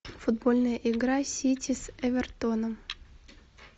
футбольная игра сити с эвертоном